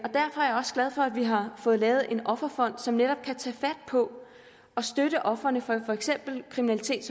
vi har fået lavet en offerfond som netop kan tage fat på at støtte ofrene for for eksempel kriminalitet